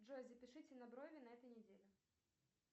джой запишите на брови на этой неделе